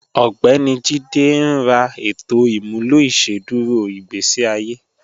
Ọgbẹ̀ni Jíde ní rà ètò imúlọ̀ ìṣẹ̀dúrò igbésí àye